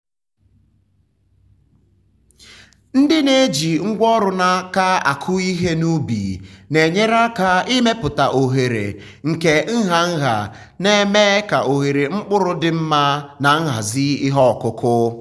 ndị na-eji ngwa ọrụ n’aka akụ ihe n’ubi na-enyere aka ịmepụta oghere nke nha nha na-eme ka ohere mkpụrụ dị mma na nhazi ihe ọkụkụ.